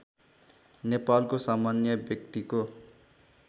नेपालको सामान्य व्यक्तिको